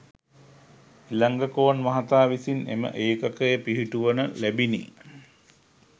ඉලංගකෝන් මහතා විසින් එම ඒකකය පිහිටුවන ලැබිණි